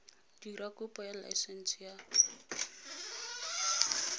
dira kopo ya laesense ya